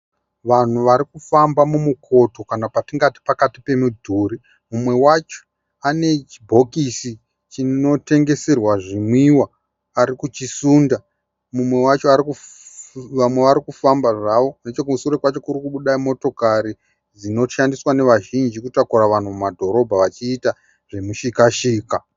Vanhu varikufamba mumukoto kana patingati pakati pemidhuri. Mumwe wacho anechibhokisi chinotengeserwa zvinwiwa, arikuchisunda. Vamwe varikufamba zvavo. Nechikusoro kwacho kurikubuda motokari dzinoshandiswa nevazhinji kutakura vanhu mumadhorobha wachiita zvemushikashika.